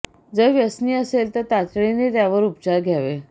जर व्यसनी असेल तर तातडीने त्यावर उपचार घ्यावे